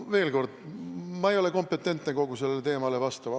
Veel kord: ma ei ole kompetentne sellel teemal vastama.